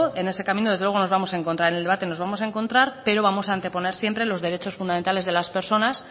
en ese camino desde luego nos vamos a encontrar y en el debate nos vamos a encontrar pero vamos a anteponer siempre los derechos fundamentales de las personas